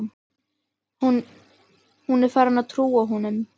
Hún er farin að trúa honum.